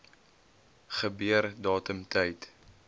gebeur datum tyd